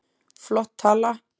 Flott tala.